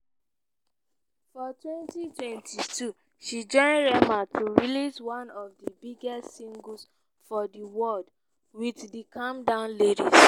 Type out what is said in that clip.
for 2022 she join rema to release one of di biggest singles for di world wit di calm down lyrics.